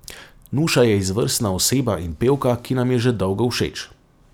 Nuša je izvrstna oseba in pevka, ki nam je že dolgo všeč.